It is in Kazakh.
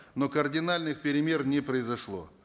но кардинальных перемен не произошло